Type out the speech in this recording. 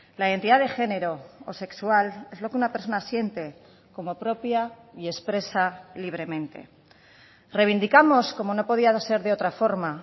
la identidad de género o sexual es lo que una persona siente como propia y expresa libremente reivindicamos como no podía ser de otra forma